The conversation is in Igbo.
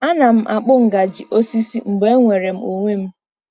Ana m akpụ ngaji osisi mgbe enwere m onwe m.